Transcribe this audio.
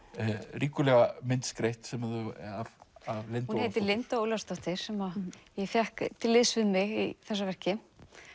ríkulega myndskreytt hún heitir Linda Ólafsdóttir sem ég fékk til liðs við mig í þessu verki